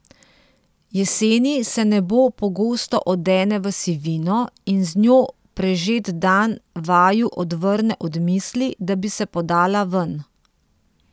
Jeseni se nebo pogosto odene v sivino in z njo prežet dan vaju odvrne od misli, da bi se podala ven.